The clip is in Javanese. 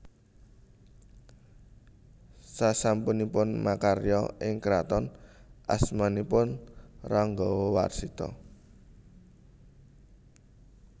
Sasampunipun makarya ing kraton asmanipun Ranggawarsita